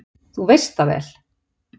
Þú veist það vel!